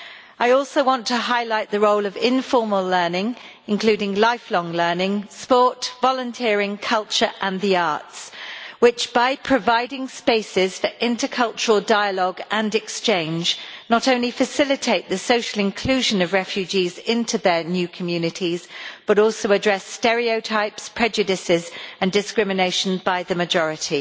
I also want to highlight the role of informal learning, including lifelong learning, sport, volunteering, culture and the arts, which by providing spaces for intercultural dialogue and exchange not only facilitate the social inclusion of refugees into their new communities, but also address stereotypes, prejudices and discrimination by the majority.